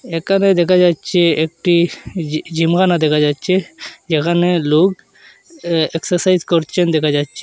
একানে দেখা যাচ্ছে একটি জি-জিমখানা দেখা যাচ্ছে যেখানে লোক এ এক্সারসাইজ করছেন দেখা যাচ্ছে।